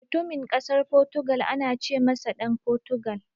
Mutumin Ƙasar Fotugal ana ce masa Ɗan Fotugal.